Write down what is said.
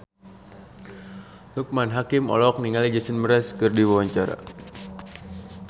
Loekman Hakim olohok ningali Jason Mraz keur diwawancara